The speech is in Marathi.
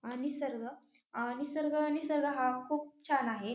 अ निसर्ग अ निसर्ग निसर्ग हा खूप छान आहे.